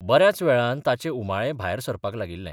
'बऱ्याच वेळान ताचे उमाळे भायर सरपाक लागिल्ले.